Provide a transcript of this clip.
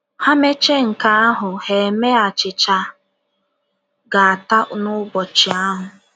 Ha mechaa nke ahụ, ha emee achịcha a ga - ata n’ụbọchị ahụ.